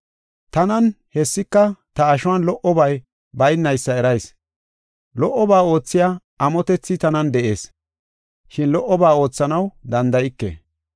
Tanan, hessika ta ashuwan lo77obay baynaysa erayis. Lo77oba oothiya amotethi tanan de7ees, shin lo77oba oothanaw danda7ike.